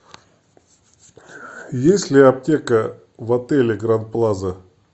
есть ли аптека в отеле гранд плаза